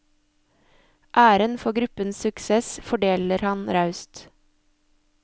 Æren for gruppens suksess fordeler han raust.